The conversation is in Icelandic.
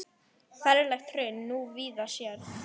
Ferlegt hraun þú víða sérð.